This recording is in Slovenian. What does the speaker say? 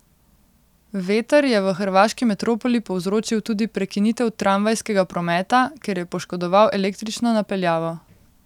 Veter je v hrvaški metropoli povzročil tudi prekinitev tramvajskega prometa, ker je poškodoval električno napeljavo.